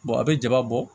a bɛ ja bɔ